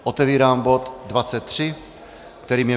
Otevírám bod 23, kterým je